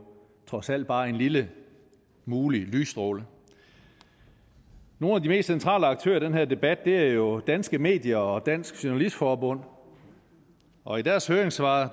trods alt bare en lille mulig lysstråle nogle af de mest centrale aktører i den her debat er jo danske medier og dansk journalistforbund og i deres høringssvar